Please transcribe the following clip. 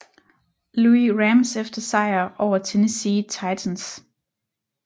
Louis Rams efter sejr over Tennessee Titans